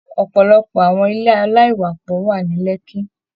Ọpọlọpọ àwọn ilé alaiwapọ wa ní Lekki.